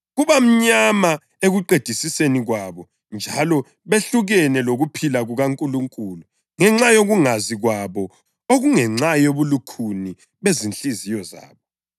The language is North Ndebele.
Kubamnyama ekuqedisiseni kwabo njalo behlukene lokuphila kukaNkulunkulu ngenxa yokungazi kwabo okungenxa yobulukhuni bezinhliziyo zabo.